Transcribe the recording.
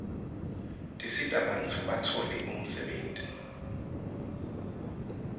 tisita bantfu batfole umsebtniti